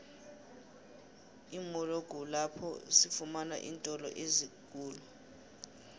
imolo kulpapho sifamana iintolo ezinengikhulu